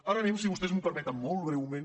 ara anem si vostès m’ho permeten molt breument